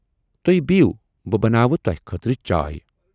تُہۍ بِہیوٗ بہٕ بناوٕ تۅہہِ خٲطرٕ چائے۔